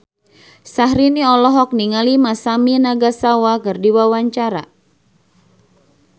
Syahrini olohok ningali Masami Nagasawa keur diwawancara